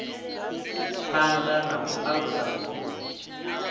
phana na u alusa vhukoni